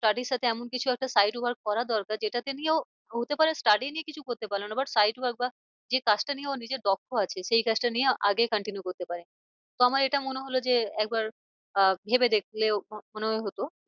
তারই সাথে এমন কিছু একটা side work করা দরকার যেটাকে নিয়েও হতে পারে study নিয়ে কিছু করতে পারলো না side work বা যে কাজটা নিয়ে ওর নিজের দক্ষ আছে সেই কাজটা নিয়ে আগে continue করতে পারে। তো আমার এটা মনে হলো যে একবার আহ ভেবে দেখলেও হতো।